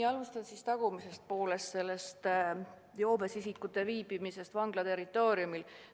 Alustan tagumisest osast, sellest joobes isikute viibimisest vangla territooriumil.